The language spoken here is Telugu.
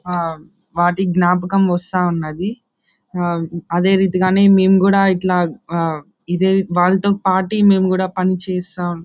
అహ్హ్ వాటి జ్ఞాపక వస్తా ఉన్నది. అహ్హ్ అదే రీతిగా మేము కూడా ఇట్లా అహ్హ ఇదే వాళ్ళతో పాటు మేము కూడా పనిచేశా --